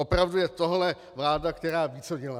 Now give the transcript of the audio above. Opravdu je tohle vláda, která ví, co dělá?